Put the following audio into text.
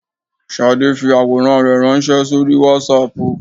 Shadé fi àwòrán rẹ̀ ránsé sórí Wásaàpù